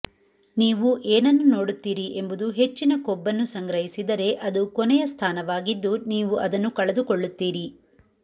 ನೀವು ಏನನ್ನು ನೋಡುತ್ತೀರಿ ಎಂಬುದು ಹೆಚ್ಚಿನ ಕೊಬ್ಬನ್ನು ಸಂಗ್ರಹಿಸಿದರೆ ಅದು ಕೊನೆಯ ಸ್ಥಾನವಾಗಿದ್ದು ನೀವು ಅದನ್ನು ಕಳೆದುಕೊಳ್ಳುತ್ತೀರಿ